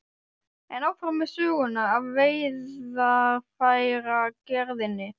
En áfram með söguna af veiðarfæragerðinni.